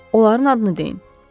Onların adını deyin.